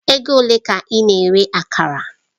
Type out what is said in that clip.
Ego ole ka ị na-ere Akara?